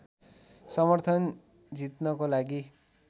समर्थन जित्नको लागि